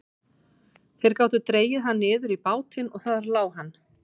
Þeir gátu dregið hann niður í bátinn og þar lá hann.